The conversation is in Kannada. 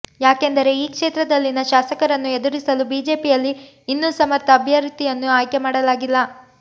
ಯಾಕೆಂದರೆ ಈ ಕ್ಷೇತ್ರದಲ್ಲಿನ ಶಾಸಕರನ್ನು ಎದುರಿಸಲು ಬಿಜೆಪಿಯಲ್ಲಿ ಇನ್ನೂ ಸಮರ್ಥ ಅಭ್ಯರ್ಥಿಯನ್ನು ಆಯ್ಕೆ ಮಾಡಲಾಗಿಲ್ಲ